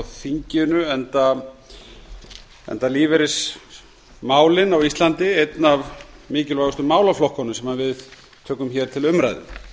þinginu enda lífeyrismálin á íslandi einn af mikilvægustu málaflokkunum sem við tökum hér til umræðu